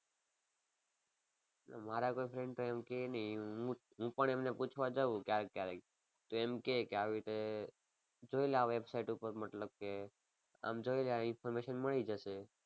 ના મારા કોઈ friend તો એમ કે નહીં હું હું પણ એમને પૂછવા જાઉ ક્યારેક ક્યારેક તો એમ કે કે આવી રીતે જોઈ લે આ website ઉપર મતલબ કે આમ જોઈ લે આની information મળી જશે.